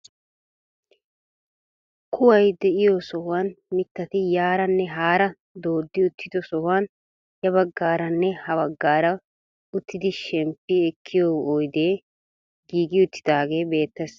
Kuway de'iyoo sohuwaan mittati yaaranne haara dooddi uttido sohuwaan ya baggaaranne ha baaggaara uttidi shemppi ekkiyoo oydee giigi uttidaagee beettes.